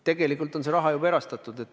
Tegelikult on see raha juba erastatud!